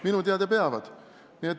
Minu teada peavad.